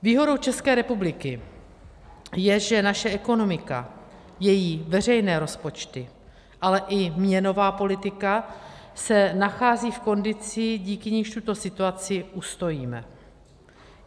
Výhodou České republiky je, že naše ekonomika, její veřejné rozpočty, ale i měnová politika se nachází v kondici, díky níž tuto situaci ustojíme.